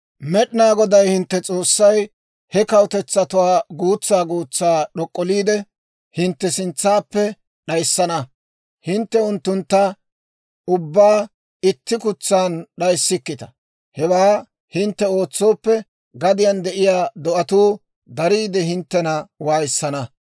Med'inaa Goday hintte S'oossay he kawutetsatuwaa guutsaa guutsaa d'ok'olliidde, hintte sintsaappe d'ayissana. Hintte unttuntta ubbaa itti kutsan d'ayissikkita; hewaa hintte ootsooppe, gadiyaan de'iyaa do'atuu dariide, hinttena waayissana.